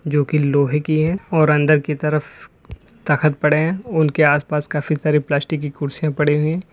जो की लोहे की है और अंदर की तरफ तख्त पड़े हैं उनके आसपास काफी सारी प्लास्टिक की कुर्सियां पड़ी हुई है।